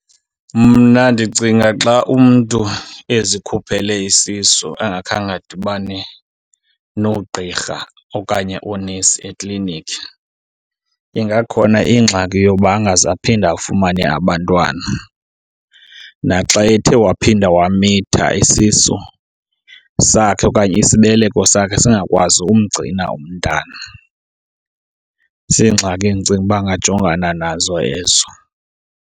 Mna ndicinga xa umntu ezikhuphele isisu angakhange adibane noogqirha okanye oonesi eklinikhi ingakhona ingxaki yokuba angaze aphinde afumane abantwana. Naxa ethe waphinda wamitha isisu sakhe okanye isibeleko sakhe singakwazi umgcina umntana. Ziingxaki endicinga uba angajongana nazo ezo.